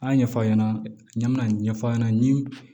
A y'a ɲɛfɔ aw ɲɛna n bɛna ɲɛfɔ a ɲɛna